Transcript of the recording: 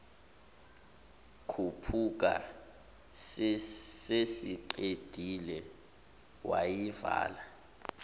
khuphuka sesiqedile wayivala